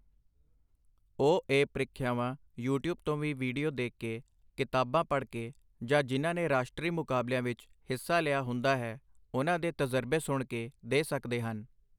ਉਹ ਇਹ ਪ੍ਰੀਖਿਆਵਾਂ ਯੂਟੀਊਬ ਤੋਂ ਵੀ ਵੀਡੀਓ ਦੇਖ ਕੇ ਕਿਤਾਬਾਂ ਪੜ੍ਹ ਕੇ ਜਾਂ ਜਿਨ੍ਹਾਂ ਨੇ ਰਾਸ਼ਟਰੀ ਮੁਕਾਬਲਿਆਂ ਵਿੱਚ ਹਿੱਸਾ ਲਿਆ ਹੁੰਦਾ ਹੈ, ਉਹਨਾਂ ਦੇ ਤਜ਼ਰਬੇ ਸੁਣ ਕੇ ਦੇ ਸਕਦੇ ਹਨ।